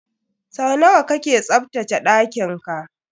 Sau nawa kake tsaftace ɗakin ka?